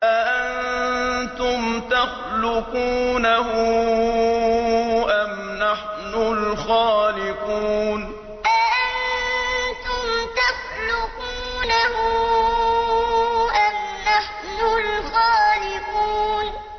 أَأَنتُمْ تَخْلُقُونَهُ أَمْ نَحْنُ الْخَالِقُونَ أَأَنتُمْ تَخْلُقُونَهُ أَمْ نَحْنُ الْخَالِقُونَ